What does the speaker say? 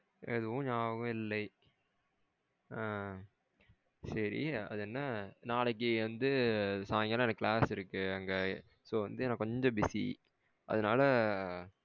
எதுவும் ஞாபகம் இல்லை. ஆ சேரி அது என்ன நாளைக்கு வந்து சயிங்கலாம் class இருக்கு. So வந்து நா கொஞ்சம் busy அதுனால